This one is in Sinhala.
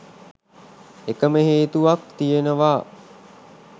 එකම හේතුවක් තියෙනවා